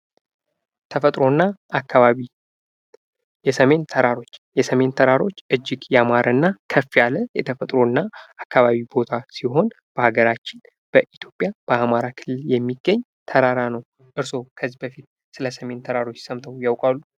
ተፈጥሮ እና አካባቢ የሰሜን ተራሮች የሰሜን ተራሮች እጅግ ያማረ እና ከፍ ያለ የተፈጥሮ እና አካባቢ ቦታ ሲሆን በሃገራችን በኢትዮጵያ በአማራ ክልል የሚገኝ ተራራ ነው። እርስዎ ከዚህ በፊት ስለ ሰሜን ተራሮች ሰምተው ያቃሉ?